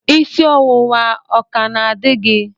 Isi ọwụwa ọ ka na-adị gị?